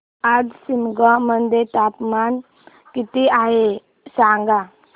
आज शिमोगा मध्ये तापमान किती आहे सांगा